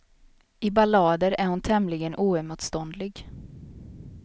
I ballader är hon tämligen oemotståndlig.